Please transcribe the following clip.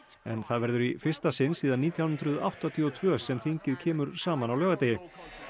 það verður í fyrsta sinn síðan nítján hundruð áttatíu og tvö sem þingið kemur saman á laugardegi